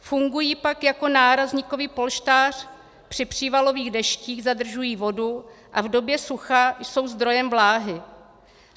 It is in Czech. Fungují pak jako nárazníkový polštář při přívalových deštích, zadržují vodu a v době sucha jsou zdrojem vláhy.